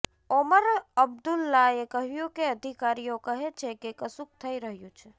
ઓમર અબ્દુલ્લાએ કહ્યું કે અધિકારીઓ કહે છે કે કશુક થઈ રહ્યું છે